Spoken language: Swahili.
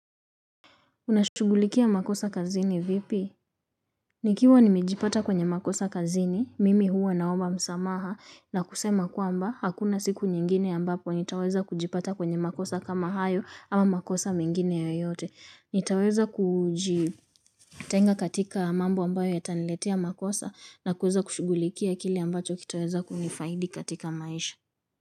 Unashugulikia makosa kazini vipi? Nikiwa nimejipata kwenye makosa kazini, mimi huwa naomba msamaha na kusema kwamba hakuna siku nyingine ambapo nitaweza kujipata kwenye makosa kama hayo ama makosa mingine yoyote. Nitaweza kuji tenga katika mambo ambayo yataniletea makosa na kuweza kushugulikia kile ambacho kitaweza kunifaidi katika maisha.